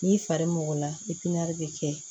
N'i fari mɔgɔ la bɛ kɛ